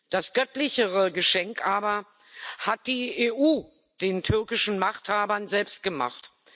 Das göttlichere Geschenk aber hat die EU den türkischen Machthabern selbst gemacht.